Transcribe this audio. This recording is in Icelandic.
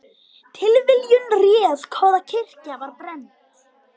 Tilviljun réð hvaða kirkja var brennd